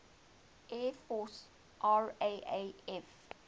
air force raaf